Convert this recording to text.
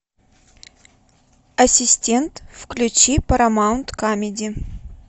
ассистент включи парамаунт камеди